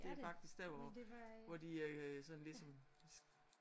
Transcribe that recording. Det er faktisk der hvor hvor de øh sådan ligesom